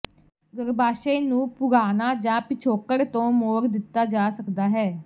ਗਰੱਭਾਸ਼ਯ ਨੂੰ ਪੁਰਾਣਾ ਜਾਂ ਪਿਛੋਕੜ ਤੋਂ ਮੋੜ ਦਿੱਤਾ ਜਾ ਸਕਦਾ ਹੈ